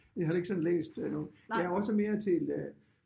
Jeg har heller ikke sådan læst øh noget jeg er også mere til øh